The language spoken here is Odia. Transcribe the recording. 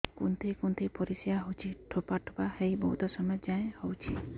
କୁନ୍ଥେଇ କୁନ୍ଥେଇ ପରିଶ୍ରା ହଉଛି ଠୋପା ଠୋପା ହେଇ ବହୁତ ସମୟ ଯାଏ ହଉଛି